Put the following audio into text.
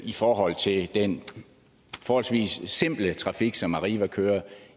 i forhold til den forholdsvis simple trafik som arriva kører